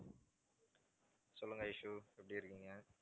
சொல்லுங்க ஐஷூ எப்படி இருக்கீங்க?